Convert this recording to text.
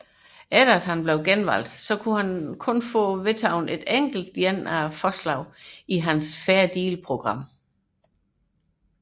Efter hans genvalg kunne han kun få vedtaget et enkelt af forslagene i hans Fair Deal program